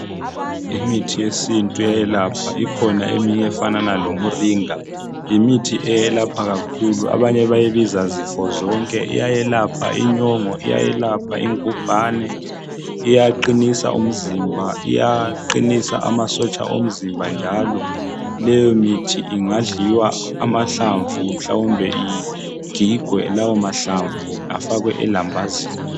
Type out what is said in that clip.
Imithi yesintu iyayelapha. Ikhona eminye efanana lomuringa, yimithi eyelapha kakhulu. Abanye bayibiza zifozonke iyayelapha inyongo, iyayelapha ingubhane, iyaqinisa umzimba iyaqinisa amasotsha omzimba njalo leyo mithi ingadliwa amahlamvu mhlawumbe igigwe lawo mahlamvu afakwe elambazini.